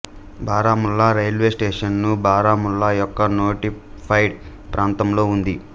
Baramulla railway station Baramulla యొక్క notified ప్రాంతంలో ఉంది